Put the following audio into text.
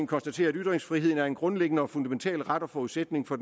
konstaterer at ytringsfriheden er en grundlæggende og fundamental ret og forudsætning for